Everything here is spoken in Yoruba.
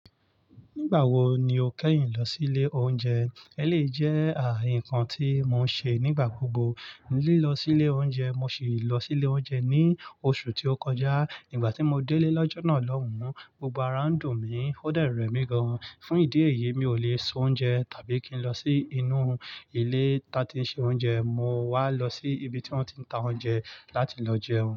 Nígbà wo ni o kẹ́yìn lọ sí ilé oúnjẹ? Eléyii jẹ́ ǹkán tí mo ń ṣe nígbà gbogbo, lílọ sí ilé oúnjẹ. Mo sì lọ sí ilé oúnjẹ ní oṣù tí ó kọjá. Igbà tí mo dé'lé lọ́jọ́ náà lọ́hùn, gbogbo ara ń dùn mí, ó dẹ̀ rẹ mí gan-an. Fún ìdí èyí, mi ò lè soúnjẹ tàbí kí n lọ sí inú ilé ton tí ń ṣe oúnjẹ. Mo wá lọ sí ibi tí wọ́n ti ń ta oúnjẹ láti lọ jẹun.